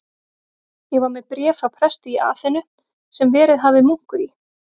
Ég var með bréf frá presti í Aþenu, sem verið hafði munkur í